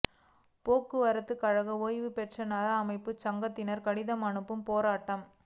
போக்குவரத்து கழக ஓய்வு பெற்ற நல அமைப்பு சங்கத்தினா் கடிதம் அனுப்பும் போராட்டம்